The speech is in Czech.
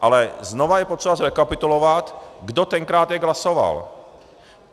Ale znovu je potřeba zrekapitulovat, kdo tenkrát jak hlasoval.